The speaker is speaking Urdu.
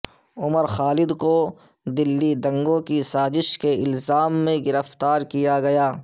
عمر خالد کو دلی دنگوں کی سازش کے الزام میں گرفتار کیا گیا